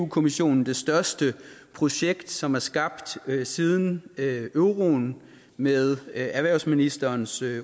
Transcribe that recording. kommissionen det største projekt som er skabt siden euroen og med erhvervsministerens